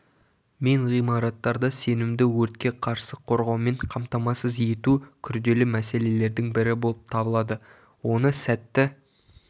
мен ғимараттарды сенімді өртке қарсы қорғаумен қамтамасыз ету күрделі мәселелердің бірі болып табылады оны сәтті